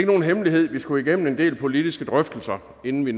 nogen hemmelighed at vi skulle igennem en del politiske drøftelser inden vi